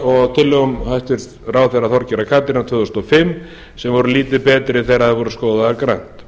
og tillögum hæstvirts ráðherra þorgerðar katrínar tvö þúsund og fimm sem voru lítið betri þegar þær voru skoðaðar grannt